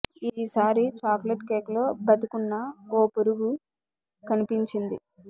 ఈ సారి chocolate cake లో బతికున్న ఓ పురుగు కనిపించింది